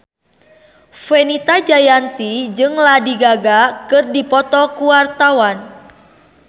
Fenita Jayanti jeung Lady Gaga keur dipoto ku wartawan